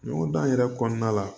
Ɲɔgɔn dan yɛrɛ kɔnɔna la